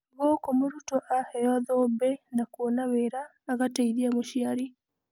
Gũkũ mũrutwo aheyo thũmbĩ na kũona wĩra agateithia mũciari.